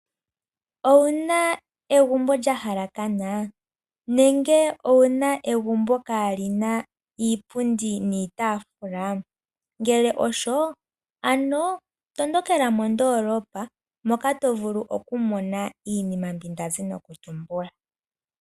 Owuna egumbo lyahalakana nenge owuna egumbo kaa lina iipundi niitaafula? Ngele osho ano tondokela mo ndoolopa moka to vulu oku mona iinima ndazi noku tumbula.